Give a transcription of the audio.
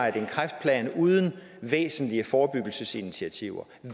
at en kræftplan uden væsentlige forebyggelsesinitiativer